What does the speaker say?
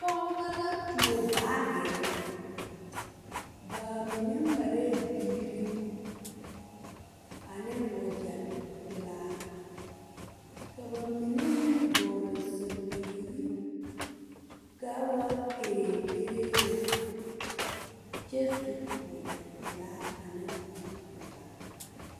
Pɔgɔbo la tuo baagire. Ba mene marɛɛ biire ane wagye pulaa. Ka ba mene meŋ vogle sapigre kaa waa kɛrɛkɛrɛe lɛ. Kyɛ su wagye pulaa ane kparo pulaa